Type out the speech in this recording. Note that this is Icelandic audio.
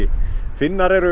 Finnar eru